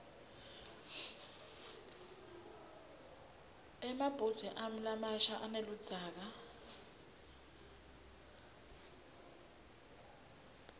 emabhudze ami lamasha aneludzaka